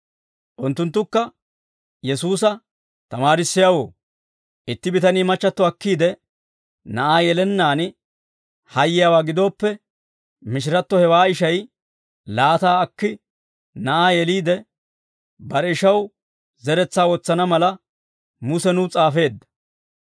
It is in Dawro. Unttunttukka Yesuusa, «Tamaarissiyaawoo, itti bitanii machchatto akkiide na'aa yelennaan hayyiyaawaa gidooppe, mishiratto hewaa ishay laataa akki na'aa yeliide bare ishaw zeretsaa wotsana mala Muse nuw s'aafeedda.